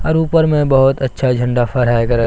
और ऊपर में बहोत अच्छा झंडा फहराया गर--